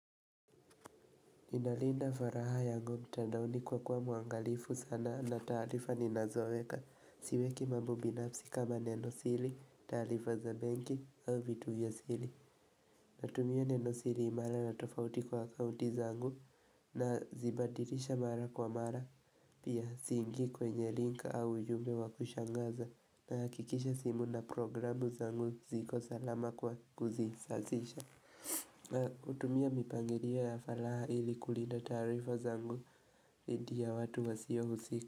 Ninalinda furaha yangu mtandaoni kwa kuwa muangalifu sana na taarifa ninazoweka Siweki mambo binafsi kama nenosiri, taarifa za bengi au vitu vya asili Natumia nenosili imara na tofauti kwa akaunti zangu na zibadilisha mara kwa mara pia siingi kwenye link au ujumbe wakushangaza na hakikisha simu na programu zangu ziko salama kwa kuzi sasisha hutumia mipangilio ya falaha ili kulinda taarifa zangu dhidi ya watu wa siyo usika.